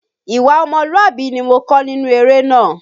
Ìwà ọmọlúwàbí ni mo kọ́ nínú eré náà.